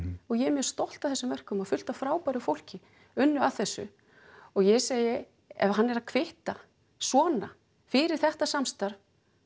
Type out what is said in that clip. og ég er mjög stolt af þessum verkum og fullt af frábæru fólki unnu að þessu og ég segi ef hann er að kvitta svona fyrir þetta samstarf